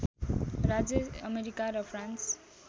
राज्य अमेरिका र फ्रान्स